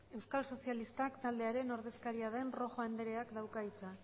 euskal sozialistak taldearen ordezkaria den rojo andrea dauka hitza